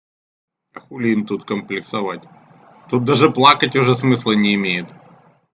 а хули им тут комплексовать тут даже плакать уже смысла не имеет